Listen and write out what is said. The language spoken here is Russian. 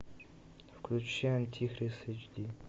включай антихрист эйч ди